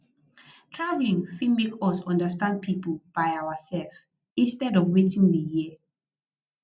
travelling fit make us understand pipo by ourself instead of wetin we hear